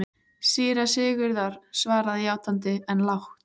Síra Sigurður svaraði játandi, en lágt.